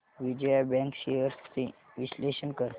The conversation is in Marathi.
विजया बँक शेअर्स चे विश्लेषण कर